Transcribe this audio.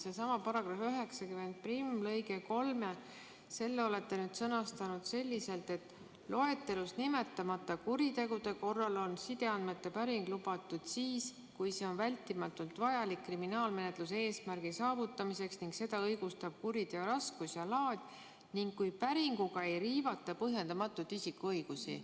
Sellesama § 901 lõike 3 olete sõnastanud selliselt, et loetelus nimetamata kuritegude korral on sideandmete päring lubatud siis, kui see on vältimatult vajalik kriminaalmenetluse eesmärgi saavutamiseks ning seda õigustab kuriteo raskus ja laad ning kui päringuga ei riivata põhjendamatult isikuõigusi.